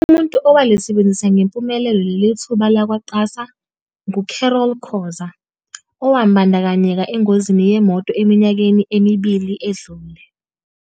Umuntu owalisebenzisa ngempumelelo lelithuba labakwa-QASA ngu-Carol Khoza, owabandakanyeka engozini yemoto eminyakeni emibili edlule.